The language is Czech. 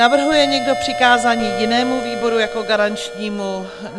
Navrhuje někdo přikázání jinému výboru jako garančnímu?